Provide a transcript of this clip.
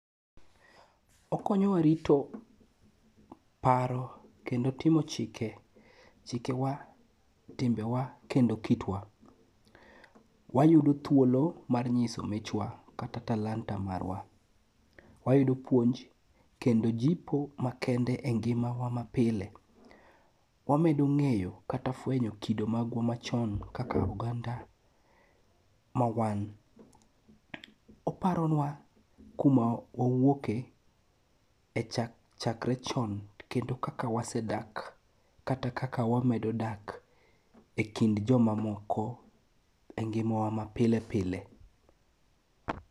Okonyowa rito paro kendo timo chike ,chikewa, timbewa kendo kitwa. Wayudo thuolo mar nyiso michwa kata talanta marwa. Wayudo puonj kendo jipo makende e ngimawa mapile. wamedo ng'eyo kata fwenyo kido magwa machon kaka oganda ma wan. Oparonwa kuma wawuoke,e chakre chon kendo kaka wasedak, kata kaka wamedo dak e kind jomamoko e ngimawa ma pile pile.